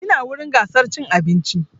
Ina wurin gasar cin abinci